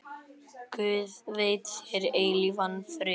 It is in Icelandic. Guð veiti þér eilífan frið.